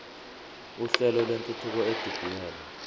uhlelo lwentuthuko edidiyelwe